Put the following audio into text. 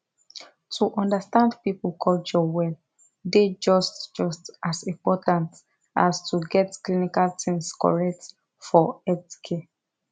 to understand people culture well dey just just as important as to get clinical things correct for healthcare